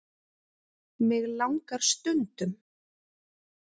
Mig langar stundum.